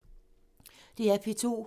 DR P2